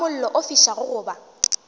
ga mollo o fišago goba